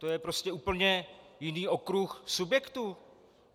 To je prostě úplně jiný okruh subjektů.